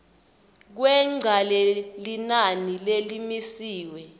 kwengca lelinani lelimisiwe